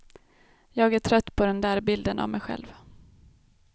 Jag är trött på den där bilden av mig själv.